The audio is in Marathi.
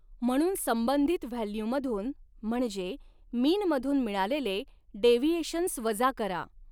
म्हणून संबंधित व्हॅल्यू मधून म्हणजॆ मीनमधून मिळालेले डेव्हिएशन्स वजा करा.